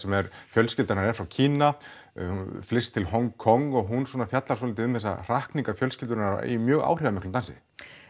fjölskylda hennar er frá Kína hún flyst til Hong Kong og hún svona fjallar örlítið um þessar hrakningar fjölskyldunnar í mjög áhrifamiklum dansi